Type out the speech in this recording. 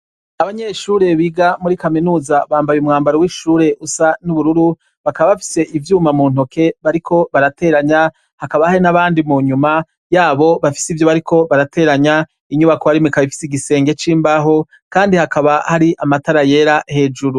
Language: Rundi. Abanyeshure biga muri kaminuza bambaye umwambaro w'ishure usa n'ubururu, bakaba bafise ivyuma mu ntoke bariko barateranya, hakaba hari n'abandi mu nyuma yabo bafise ivyo bariko barateranya, inyubako barimwo ikaba ifise igisenge c'imbaho, kandi haka hari amatara yera hejuru.